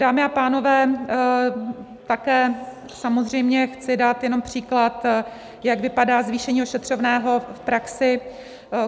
Dámy a pánové, také samozřejmě chci dát jenom příklad, jak vypadá zvýšení ošetřovného v praxi.